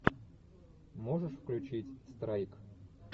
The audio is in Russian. можешь включить страйк